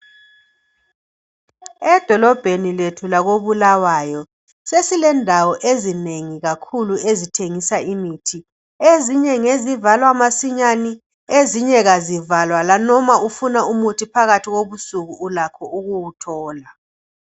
Edolobheni lethu lakho Bulawayo, sesilendawo ezinengi ezithengisa imithi. Ezinye ngezivalwa masinyane, ezinye azivalwa lanoma ufuna umuthi phakathi kobusunku ulakho ukuwuthola.